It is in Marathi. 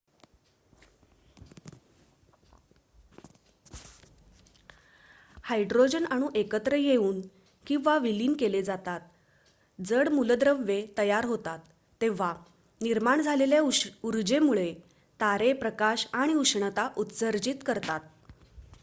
हायड्रोजन अणू एकत्र येऊन किंवा विलीन केले जातात जड मूलद्रव्ये तयार होतात तेव्हा निर्माण झालेल्या ऊर्जेमुळे तारे प्रकाश आणि उष्णता उत्सर्जित करतात